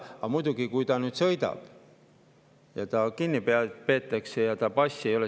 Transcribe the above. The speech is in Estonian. Aga muidugi, kui ta nüüd sõidab ja ta kinni peetakse,.